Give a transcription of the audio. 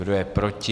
Kdo je proti?